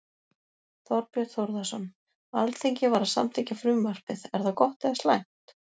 Þorbjörn Þórðarson: Alþingi var að samþykkja frumvarpið, er það gott eða slæmt?